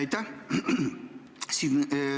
Aitäh!